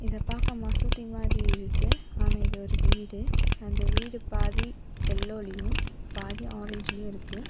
இதப்பாக்க மசூதி மாறி இருக்கு ஆனா இது ஒரு வீடு அந்த வீடு பாதி எல்லோலயும் பாதி ஆரஞ்சுலயும் இருக்கு.